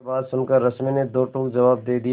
यह बात सुनकर रश्मि ने दो टूक जवाब दे दिया